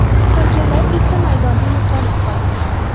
Qolganlar esa maydonda yo‘qolib qoldi.